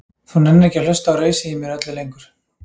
Þú nennir ekki að hlusta á rausið í mér öllu lengur.